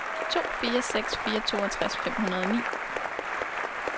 to fire seks fire toogtres fem hundrede og ni